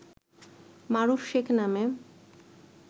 মারুফ শেখ নামে